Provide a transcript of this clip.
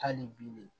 Hali bi ne